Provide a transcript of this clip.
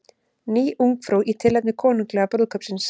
Ný Ungfrú í tilefni konunglega brúðkaupsins